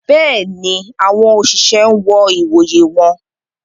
Béèni, awọn oṣiṣẹ n wọ ìwòyè wọn